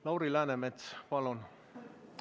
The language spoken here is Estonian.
Lauri Läänemets, palun!